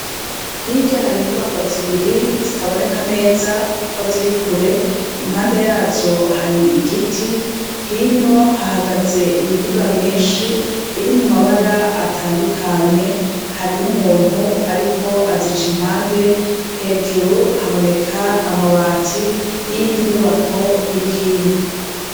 Hirya hari inyubako zibiri zitaboneka neza kuko ziri kure. Impande yazo hari igiti, hino hahagaze imiduga myishi iri mu mabara atandukanye, hari n'umuntu ariko azica impande hejuru haboneka amabati y'indi nyubako iri hino.